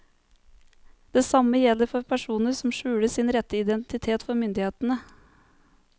Det samme gjelder for personer som skjuler sin rette identitet for myndighetene.